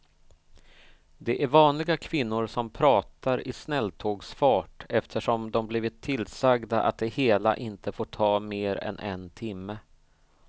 Det är vanliga kvinnor som pratar i snälltågsfart eftersom de blivit tillsagda att det hela inte får ta mer än en timme.